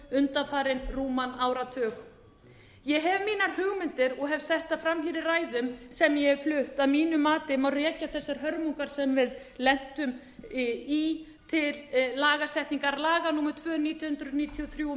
undanfarinn rúman áratug ég hef mínar hugmyndir og hef sett þær fram hér í ræðum sem ég hef flutt að mínu mati má rekja þessar hörmungar sem við lentum í til lagasetningar laga númer tvö nítján hundruð níutíu og